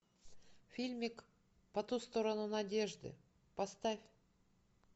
фильмик по ту сторону надежды поставь